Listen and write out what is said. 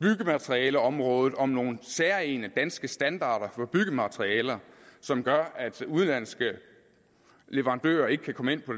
byggematerialeområdet om nogle særegne danske standarder for byggematerialer som gør at udenlandske leverandører ikke kan komme ind på